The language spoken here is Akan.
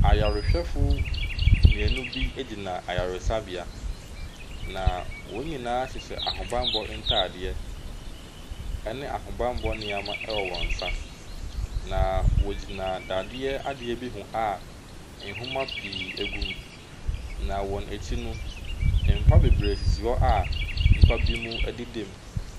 Ayarehwɛfo mmienu bi gyina ayaresabea na wɔn nyinaa hyehyɛ ahobanbɔ ntaadeɛ ɛne ahobanbɔ nnoɔma ɛwɔ wɔn nsa. Na wɔgyina dadeɛ adeɛ bi ho a, nnwoma pii egu mu. Na wɔn akyi no mpa bebree sisi hɔ a, nnipa bi mo ɛdeda mu.